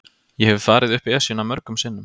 Ég hef farið upp Esjuna mörgum sinnum.